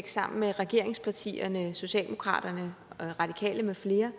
sammen med regeringspartierne socialdemokratiet de radikale med flere